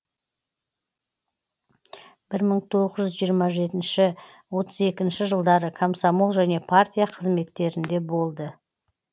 бір мың тоғыз жиырма жетінші отыз екінші жылдары комсомол және партия қызметтерінде болды